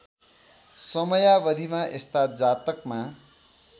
समयावधिमा यस्ता जातकमा